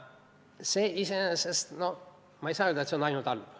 Ma ei saa öelda, et see iseenesest on halb.